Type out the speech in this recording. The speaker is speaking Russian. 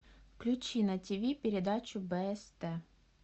включи на ти ви передачу бст